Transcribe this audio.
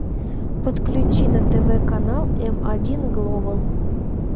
подключи на тв канал м один глобал